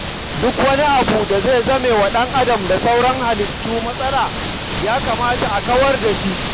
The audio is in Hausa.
Duk wani abu da zai zamewa ɗan'adam da sauran halittu matsala, ya kamata a kawar da shi.